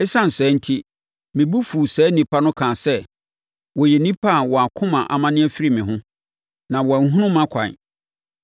Esiane saa enti, me bo fuu saa nnipa no kaa sɛ, ‘Wɔyɛ nnipa a wɔn akoma amane afiri me ho, na wɔanhunu mʼakwan.’